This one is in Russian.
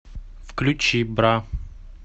включи бра